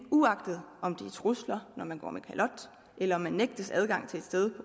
uagtet om det er trusler når man går med kalot eller om man nægtes adgang til et sted